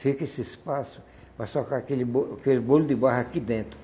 Fica esse espaço para socar aquele bo aquele bolo de barro aqui dentro.